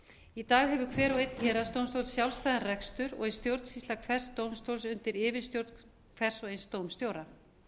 í dag hefur hver og einn héraðsdómstóll sjálfstæðan rekstur og er stjórnsýsla hvers dómstóls undir yfirstjórn hvers og eins dómstjóra